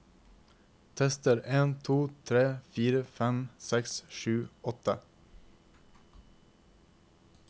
Tester en to tre fire fem seks sju åtte